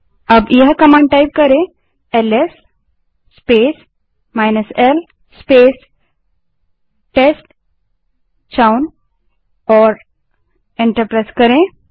अब command LS space l space test chown that is t e s t c h o w n type करें और enter दबायें